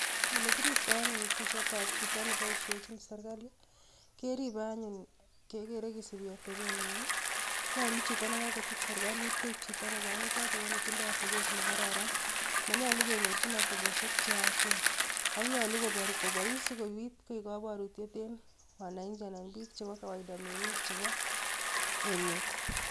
Ole kiriptoo anyun kisiet ab chito neboishenchin serkalii, keribee anyun kegere kisiibi atebenyiiin I,nyolu chito nekokochut serkalit koik chito nekonyiitot ako netindoi atebet nekaran. Monyolu kenyoorchin atebosiek cheyaachen. Ak nyolu kobois, sikobiit koik koboorutiet en wananchi anan biik chebo kawaida, mengiik chebo emet.